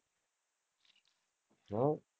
હમ